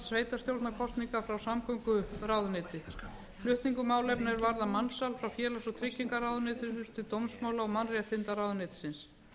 sveitarstjórnarkosninga frá samgönguráðuneyti flutningur málefna er varða mansal frá félags og tryggingamálaráðuneyti til dómsmála og mannréttindaráðuneytisins